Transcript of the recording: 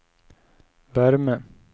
värme